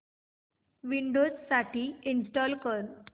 Windows साठी install कर